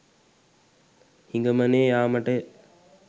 හිඟමනේ යාමටය